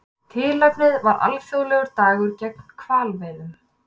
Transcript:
Tilefnið var alþjóðlegur dagur gegn hvalveiðum